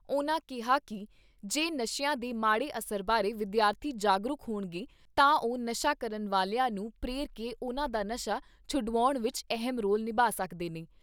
ਉਨ੍ਹਾਂ ਕਿਹਾ ਕਿ ਜੇ ਨਸ਼ਿਆਂ ਦੇ ਮਾੜੇ ਅਸਰ ਬਾਰੇ ਵਿਦਿਆਰਥੀ ਜਾਗਰੂਕ ਹੋਣਗੇ ਤਾਂ ਉਹ ਨਸ਼ਾ ਕਰਨ ਵਾਲਿਆਂ ਨੂੰ ਪ੍ਰੇਰ ਕੇ ਉਨ੍ਹਾਂ ਦਾ ਨਸ਼ਾ ਛੁਡਾਉਣ ਵਿਚ ਅਹਿਮ ਰੋਲ ਨਿਭਾ ਸਕਦੇ ਨੇ।